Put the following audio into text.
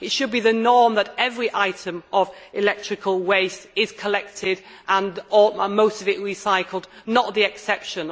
It should be the norm that every item of electrical waste is collected and most of it recycled, not the exception.